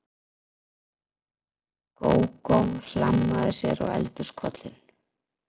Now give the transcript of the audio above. Gógó hlammaði sér á eldhúskollinn.